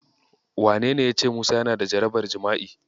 Wanene yace Musa yana da jarabar jima'i?